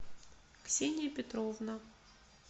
ксения петровна